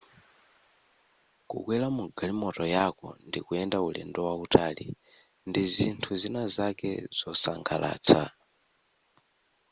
kukwera mugalimoto yako ndikuyenda ulendo wautali ndizinthu zina zake zosangalatsa